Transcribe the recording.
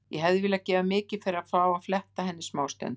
Ég hefði viljað gefa mikið fyrir að fá að fletta henni smástund.